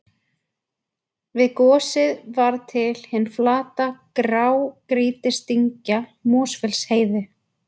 Við gosið varð til hin flata grágrýtisdyngja Mosfellsheiði.